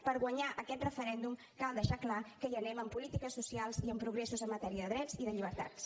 per guanyar aquest referèndum cal deixar clar que hi anem amb polítiques socials i amb progressos en matèria de drets i de llibertats